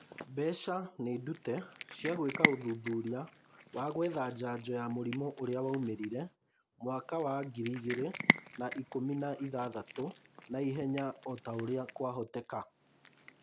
Mbeca nĩndute cia gwĩka ũthuthuria wa gwetha njanjo ya mũrimũ ũrĩa waumĩrire mwaka wa ngiri igĩrĩ na ikũmi na ithathatũ naihenya otaũrĩa kwahotekeka